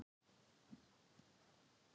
ERU FRAMARAR AÐ HIRÐA STIGIN ÞRJÚ??